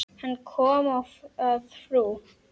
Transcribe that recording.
Hann kom að frú